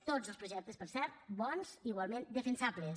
tots els projectes per cert bons igualment defensables